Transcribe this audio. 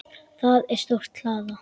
Það er stór hlaða.